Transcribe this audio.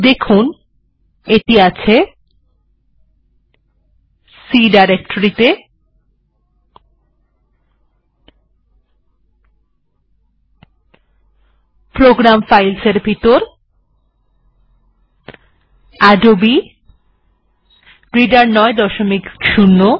দেখুন এটি আছে প্রোগ্রাম ফাইলস এর ভিতর আদবে রিডার ৯০ reader